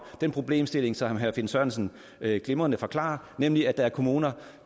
den problemstilling som herre finn sørensen glimrende forklarer nemlig at der er kommuner